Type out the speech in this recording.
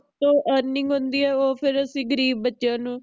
ਤੋਂ earning ਹੁੰਦੀ ਏ ਓ ਫਿਰ ਅਸੀਂ ਗਰੀਬ ਬੱਚਿਆਂ ਨੂੰ